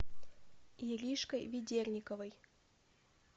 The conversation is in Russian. иришкой ведерниковой